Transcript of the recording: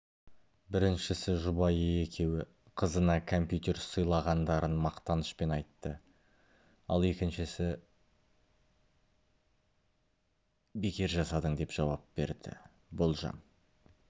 біріншісі жұбайы екеуі қызына компьютер сыйлағандарын мақтанышпен айтты ал екіншісі бекер жасадың деп жауап берді болжам